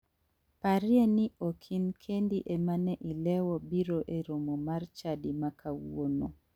Parie ni ok in kendi ema ne ilewo biro e romo mar chadi ma kawuono.